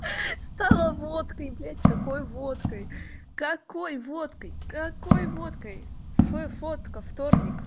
стала водкой блядь какой водкой какой водкой какой водкой ф фотка вторник